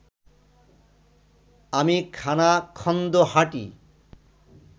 আমি খানাখন্দো হাঁটি